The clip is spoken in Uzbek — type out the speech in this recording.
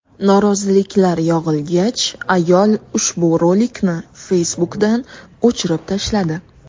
Noroziliklar yog‘ilgach, ayol ushbu rolikni Facebook’dan o‘chirib tashladi.